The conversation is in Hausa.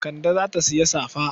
Kande za ta sayi safa.